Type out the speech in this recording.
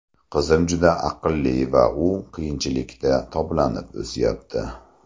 Qizim juda aqlli va u qiyinchilikda toblanib o‘syapti.